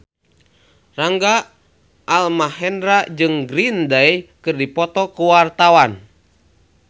Rangga Almahendra jeung Green Day keur dipoto ku wartawan